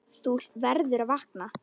Þú verður að vakna.